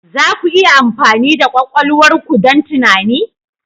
Za ku iya amfani da kwakwalwar ku don tunani?